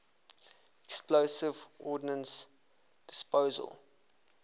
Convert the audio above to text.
explosive ordnance disposal